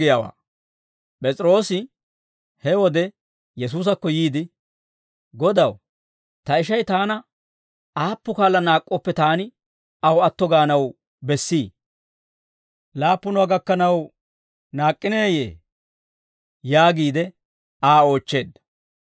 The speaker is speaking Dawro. P'es'iroosi; he wode Yesuusakko yiide, «Godaw, ta ishay taana aappu kaala naak'k'ooppe taani aw atto gaanaw bessii? Laappunuwaa gakkanaw naak'k'ineeyee?» yaagiide Aa oochcheedda.